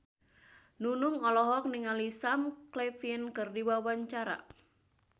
Nunung olohok ningali Sam Claflin keur diwawancara